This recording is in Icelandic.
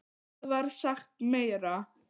Hvað var sagt meira?